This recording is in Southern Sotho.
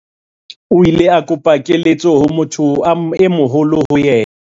o ile a kopa keletso ho motho e moholo ho yena